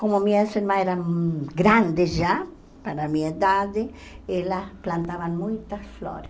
Como minha irmã era grande já, para minha idade, ela plantava muitas flores.